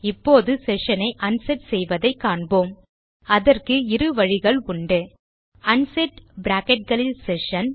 இப்போது செஷன் ஐ அன்செட் செய்வதை காண்போம் அதற்கு 2 வழிகள் உண்டு அன்செட் பிராக்கெட் களில் செஷன்